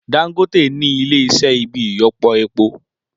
Dangote nì Ilé iṣẹ́ ibi ìyọpọ epo